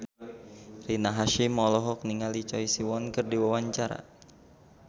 Rina Hasyim olohok ningali Choi Siwon keur diwawancara